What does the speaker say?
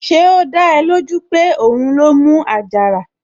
Ṣé ó dá ẹ lójú pé òun ló mú àjàrà?